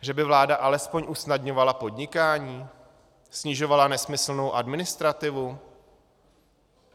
Že by vláda alespoň usnadňovala podnikání, snižovala nesmyslnou administrativu?